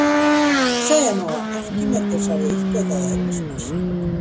segja má að arkímedes hafi uppgötvað eðlismassa